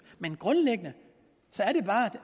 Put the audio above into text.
grundlæggende